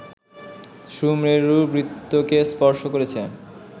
সুমেরুবৃত্তকে স্পর্শ করেছে